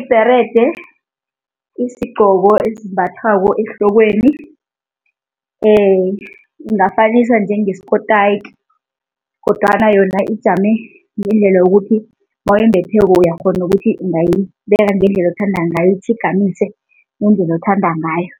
Ibherede isigcoko ezimbathwako ehlokweni ungafanisa njenge skotayiki kodwana yona ijame ngendlela yokuthi nawuyimbetheko uyakghona nokuthi ungayibeka ngendlela othanda ngayo, itjhigamise ngendlela othanda ngayo,